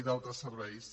i d’altres serveis